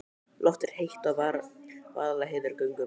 Loftið er heitt í Vaðlaheiðargöngum.